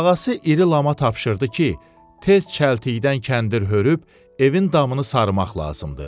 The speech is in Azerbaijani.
Ağası iri Lama tapşırdı ki, tez çəltikdən kəndir hörüb, evin damını sarımaq lazımdır.